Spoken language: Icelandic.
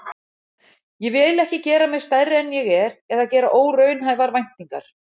Ég vil ekki gera mig stærri en ég er eða gera óraunhæfar væntingar.